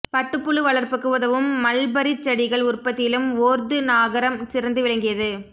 பட்டுப்புழு வளர்ப்புக்கு உதவும் மல்பரிச் செடிகள் உற்பத்தியிலும் ஒர்து நகரம் சிறந்து விளங்கியது